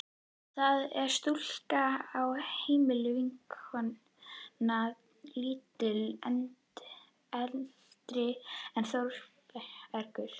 Það er stúlka á heimilinu, vinnukona lítið eldri en Þórbergur.